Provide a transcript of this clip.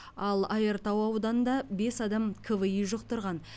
ал айыртау ауданында бес адам кви жұқтырған